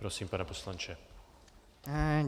Prosím, pane poslanče.